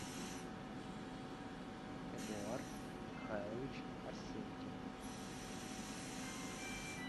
эдуард михайлович арсенькин